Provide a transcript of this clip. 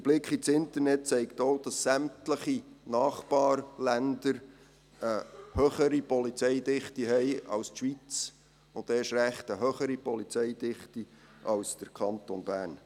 Der Blick ins Internet zeigt auch, dass sämtliche Nachbarländer eine höhere Polizeidichte haben als die Schweiz, und erst recht eine höhere Polizeidichte als der Kanton Bern.